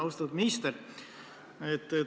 Austatud minister!